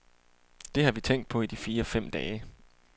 Det har vi tænkt på i de fire fem dage.